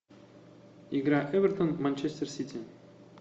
игра эвертон манчестер сити